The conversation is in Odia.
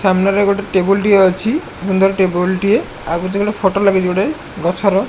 ସାମ୍ନାରେ ଗୋଟେ ଟେବୁଲ୍ ଟିଏ ଅଛି ସୁନ୍ଦର୍ ଟେବୁଲ୍ ଟିଏ ଆଉ କିଛି ଗୋଟେ ଫଟୋ ଲାଗିଚି ଗୋଟେ ଗଛର।